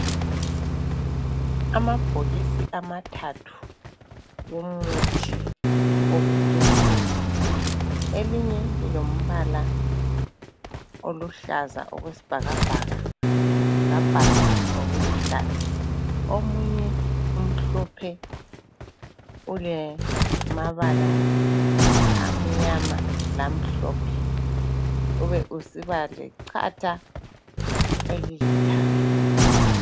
Amabhokisi amathathu womuthi wokukhwehlela. Elinye lilombala oluhlaza okwesibhakabhaka labhalwa ngokuluhlaza. Omunye umhlophe ulemabala amnyama lamhlophe ube usiba lechatha elilithanga.